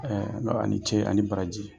n ko ani Ce ani baraji,